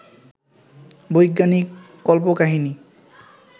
বৈজ্ঞানিক কল্পকাহিনী